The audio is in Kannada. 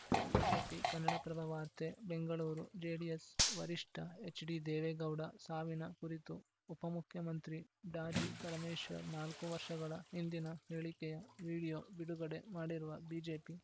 ಬಿಜೆಪಿ ಕನ್ನಡಪ್ರಭ ವಾರ್ತೆ ಬೆಂಗಳೂರು ಜೆಡಿಎಸ್‌ ವರಿಷ್ಠ ಎಚ್‌ಡಿದೇವೇಗೌಡ ಸಾವಿನ ಕುರಿತು ಉಪಮುಖ್ಯಮಂತ್ರಿ ಡಾಜಿಪರಮೇಶ್ವರ್‌ ನಾಲ್ಕು ವರ್ಷಗಳ ಹಿಂದಿನ ಹೇಳಿಕೆಯ ವಿಡಿಯೋ ಬಿಡುಗಡೆ ಮಾಡಿರುವ ಬಿಜೆಪಿ